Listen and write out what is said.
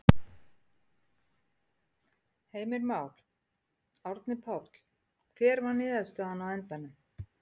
Heimir Már: Árni Páll, hver var niðurstaðan á endanum?